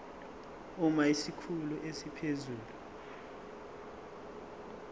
uma isikhulu esiphezulu